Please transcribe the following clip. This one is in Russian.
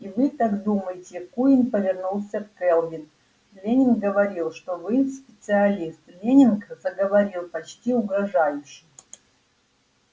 и вы так думаете куинн повернулся к кэлвин лэннинг говорил что вы специалист лэннинг заговорил почти угрожающе